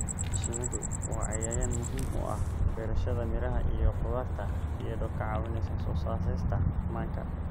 Shinnidu waa cayayaan muhiim u ah beerashada miraha iyo khudaarta iyadoo ka caawinaysa soo saarista manka.